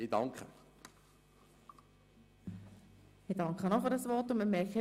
Auch ich danke für dieses Votum.